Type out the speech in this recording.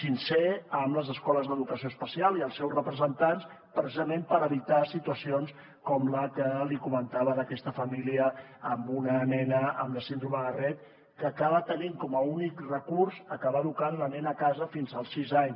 sincer amb les escoles d’educació especial i els seus representants precisament per evitar situacions com la que li comentava d’aquesta família amb una nena amb la síndrome de rett que acaba tenint com a únic recurs acabar educant la nena a casa fins als sis anys